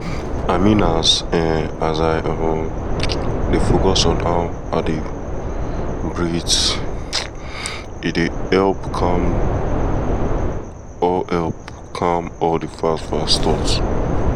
i mean as i um dey focus on how i dey um breathe um e dey help calm all help calm all the fast-fast thought